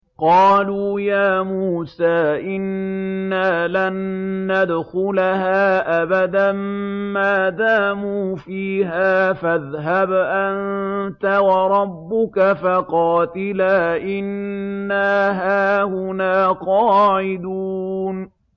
قَالُوا يَا مُوسَىٰ إِنَّا لَن نَّدْخُلَهَا أَبَدًا مَّا دَامُوا فِيهَا ۖ فَاذْهَبْ أَنتَ وَرَبُّكَ فَقَاتِلَا إِنَّا هَاهُنَا قَاعِدُونَ